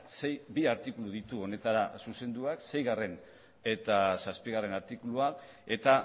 ze bi artikulu ditu honetara zuzendua seigarren eta zazpigarren artikulua eta